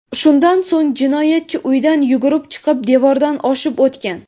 Shundan so‘ng, jinoyatchi uydan yugurib chiqib, devordan oshib o‘tgan.